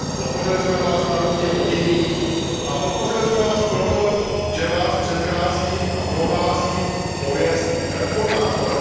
Podpořili jsme Vás na rozdíl od jiných a podpořili jsme vás proto, že Vás předchází a provází pověst reformátora.